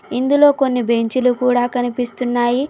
ఇందులో కొన్ని బెంచీ లు కూడా కనిపిస్తున్నాయి.